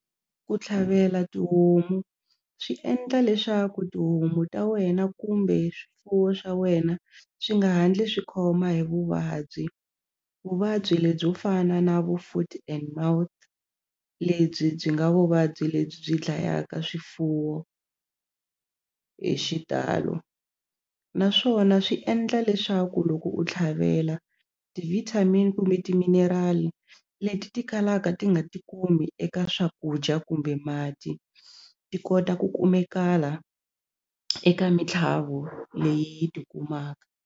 Ku tlhavela tihomu swi endla leswaku tihomu ta wena kumbe swifuwo swa wena swi nga ha ndli swi khoma hi vuvabyi vuvabyi lebyo fana na vo foot and mouth lebyi byi nga vuvabyi lebyi byi dlayaka swifuwo hi xitalo naswona swi endla leswaku loko u tlhavela ti-vitamin kumbe timinerali leti ti kalaka ti nga ti kumi eka swakudya kumbe mati ti kota ku kumekala eka mitlhavo leyi yi tikumaka.